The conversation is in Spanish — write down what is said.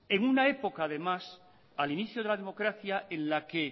en una época además al inicio de la democracia en la que